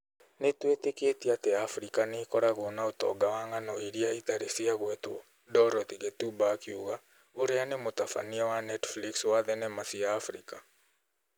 Nĩ tũĩtĩkĩtie atĩ abirika nĩ ĩkoragwo na ũtonga wa ng'ano iria ĩtarĩ ciagwetwo, Dorothy Ghettuba akiuga, ũrĩa nĩ mũtabania wa Netflix wa thenema cia abirika.